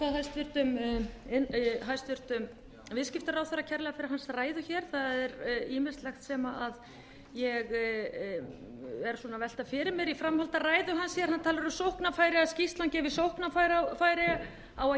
ég þakka hæstvirtum viðskiptaráðherra kærlega fyrir hans ræðu það er ýmislegt sem ég er að velta fyrir mér í framhaldi af hans ræðu hann talar um sóknarfæri að skýrslan gefi sóknarfæri á